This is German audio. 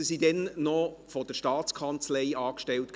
Diese wurden damals noch von der STA angestellt.